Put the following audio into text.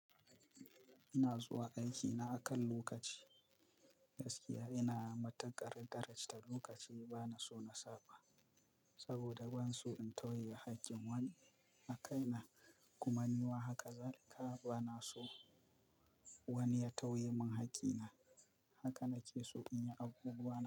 Ina zuwa aikina akan lokaci, gaskiya ina matuƙar darajanta lokaci bana so na saba. Saboda ban so in tauye haƙƙin wani a kaina. Kuma ni ma haka zalika bana so wani ya tauye mun haƙƙina. Haka na ke so in yi abubuwa na.